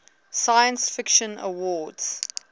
science fiction awards